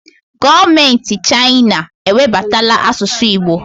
Gọọmenti Chaịna ewebatala asụsụ Igbo